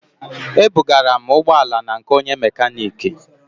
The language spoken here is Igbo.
Ebugara m ụgbọ ala na nke onye mekaniki